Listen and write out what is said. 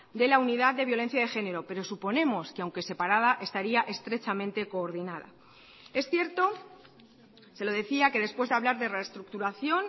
de la unidad de violencia de género pero suponemos que aunque separada estaría estrechamente coordinada es cierto se lo decía que después de hablar de reestructuración